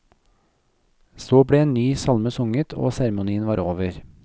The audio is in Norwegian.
Så ble en ny salme sunget, og seremonien var over.